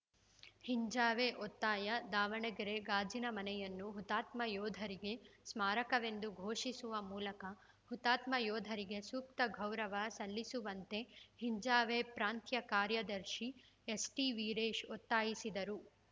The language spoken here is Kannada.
ಹಿಂಜಾವೇ ಒತ್ತಾಯ ದಾವಣಗೆರೆ ಗಾಜಿನ ಮನೆಯನ್ನು ಹುತಾತ್ಮ ಯೋಧರ ಸ್ಮಾರಕವೆಂದು ಘೋಷಿಸುವ ಮೂಲಕ ಹುತಾತ್ಮ ಯೋಧರಿಗೆ ಸೂಕ್ತ ಗೌರವ ಸಲ್ಲಿಸುವಂತೆ ಹಿಂಜಾವೇ ಪ್ರಾಂತ್ಯ ಕಾರ್ಯದರ್ಶಿ ಎಸ್‌ಟಿವೀರೇಶ ಒತ್ತಾಯಿಸಿದರು